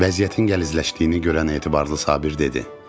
Vəziyyətin gəlizləşdiyini görən Etibarlı Sabir dedi: